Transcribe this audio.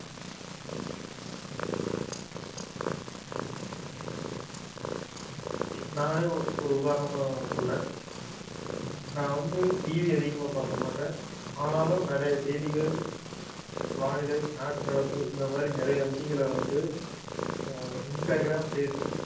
நானே ஒரு உதாரணமா சொல்றேன் நான் வந்து TV அதிகமா பார்க்க மாட்டேன் ஆனாலும் நிறைய செய்திகள் வானிலை நாட்டு நடப்பு இந்த மாதிரி நிறைய விஷயங்கள வந்து ஆஹ் இன்ஸ்டாகிராம் பேஸ் புக்